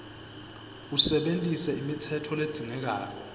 usebentise imitsetfo ledzingekako